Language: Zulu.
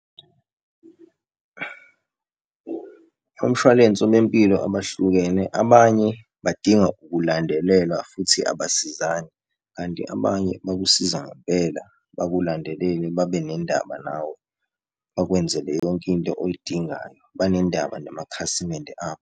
Omshwalense wempilo abahlukene, abanye badinga ukulandelelwa futhi abasizani. Kanti abanye bakusiza ngempela bakulandelele babenendaba nawe bakwenzele yonkinto oyidingayo, banendaba namakhasimende abo.